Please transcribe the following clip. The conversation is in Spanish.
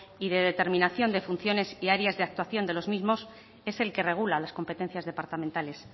y de determinación de funciones y áreas de actuación de los mismos es el que regula las competencias departamentales